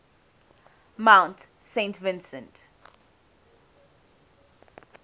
mount saint vincent